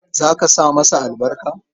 Za ka sa masa albarka?